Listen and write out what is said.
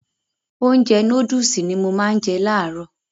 Ounjẹ nóódùsì ni mo má n je làárọ̀